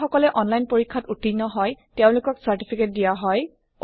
যি সকলে অনলাইন পৰীক্ষা ত উত্তীৰ্ণ হয় তেওঁলোকক চাৰ্টিফিকেট দিয়া হয়